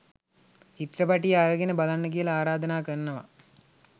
චිත්‍රපටිය අරගෙන බලන්න කියලා ආරාධනා කරනවා